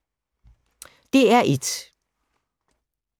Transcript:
DR1